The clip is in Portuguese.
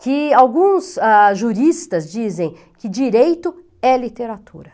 Que alguns ah, juristas dizem que direito é literatura.